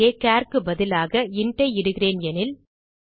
இங்கே சார் க்கு பதிலாக இன்ட் ஐ இடுகிறேன் எனில்